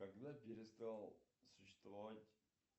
когда перестал существовать